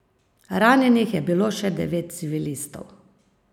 Ranjenih je bilo še devet civilistov.